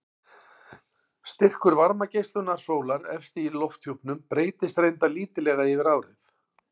Styrkur varmageislunar sólar efst í lofthjúpnum breytist reyndar lítillega yfir árið.